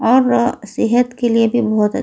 और सेहत के लिए भी बहोत अ--